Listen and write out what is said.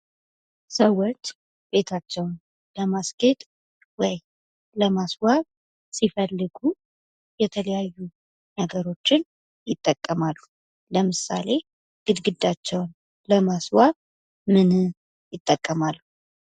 ሰዎች ቤታቸውን ለማስጌጥ ወይም ለማስዋብ ሲፈልጉ የተለያዩ ነገሮችን ይጠቀማሉ። ለምሳሌ ግርግዳቸውን ለማስዋብ ምንን ይጠቀማሉ?